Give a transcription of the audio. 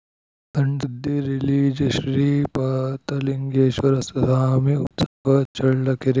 ಸಣ್‌ಸುದ್ದಿ ರಿಲೀಜ ಶ್ರೀಪಾತಲಿಂಗೇಶ್ವರ ಸ್ವಾಮಿ ಉತ್ಸವ ಚಳ್ಳಕೆರೆ